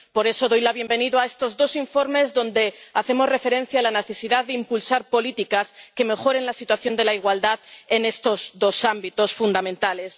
Por eso doy la bienvenida a estos dos informes, en los que hacemos referencia a la necesidad de impulsar políticas que mejoren la situación de la igualdad en estos dos ámbitos fundamentales.